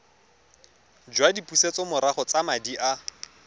jwa dipusetsomorago tsa madi a